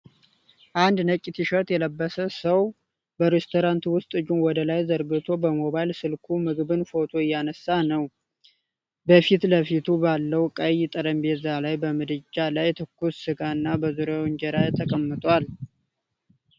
አንድ ነጭ ቲሸርት የለበሰ ሰው በሬስቶራንት ውስጥ እጁን ወደ ላይ ዘርግቶ በሞባይል ስልኩ ምግብን ፎቶግራፍ እያነሳ ነው። በፊት ለፊቱ ባለው ቀይ ጠረጴዛ ላይ በምድጃ ላይ ትኩስ ሥጋ እና በዙሪያው እንጀራ ተቀምጧል።